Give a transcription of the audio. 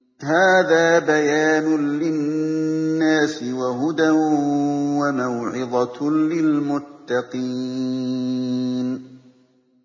هَٰذَا بَيَانٌ لِّلنَّاسِ وَهُدًى وَمَوْعِظَةٌ لِّلْمُتَّقِينَ